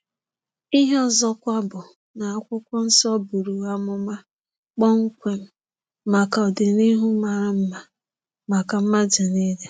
Ihe ọzọkwa bụ na Akwụkwọ nsọ buru amụma kpọmkwem maka ọdịnihu mara mma maka mmadu niile.